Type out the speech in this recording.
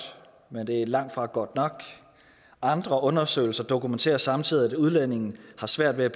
men det er langtfra godt nok andre undersøgelser dokumenterer samtidig at udlændinge har svært ved